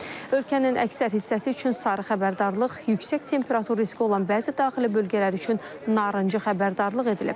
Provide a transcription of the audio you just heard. Ölkənin əksər hissəsi üçün sarı xəbərdarlıq, yüksək temperatur riski olan bəzi daxili bölgələr üçün narıncı xəbərdarlıq edilib.